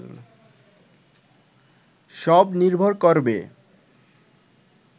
সব নির্ভর করবে